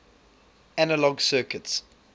analog circuits